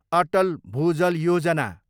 Atal Bhujal Yojana